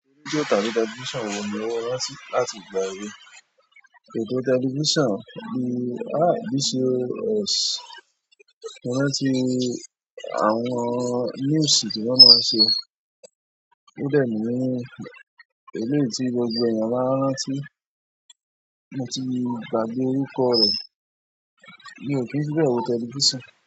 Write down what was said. Radio tàbí television wo ni ó rántí láti ìgbà èwe? Ètò television bí i BCOS mo rántí, àwọn news tí wọ́n máa ń ṣe. Ó dẹ̀ ni eléyìí tí gbogbo èèyàn má ń rántí, mo ti gbàgbé orúkọ rẹ, mio kín fi bẹ́ẹ̀ wo television.